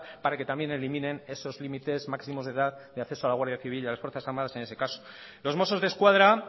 para que también eliminen esos límites máximos de edad de acceso a la guardia civil y a las fuerzas armadas en ese caso los mossos desquadra